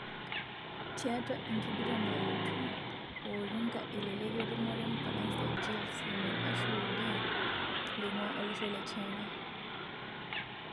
Tiatua enkiguran nalotu Wawrinka elelek ketumore Mfaransa Gilles Simon ashu Wu Di loingua olosho le China.